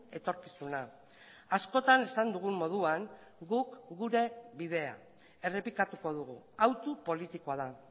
etorkizuna askotan esan dugun moduan guk gure bidea errepikatuko dugu hautu politikoa da